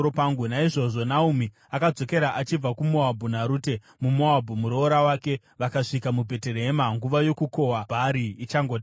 Naizvozvo Naomi akadzokera achibva kuMoabhu, naRute muMoabhu, muroora wake, vakasvika muBheterehema nguva yokukohwa bhari ichangotanga.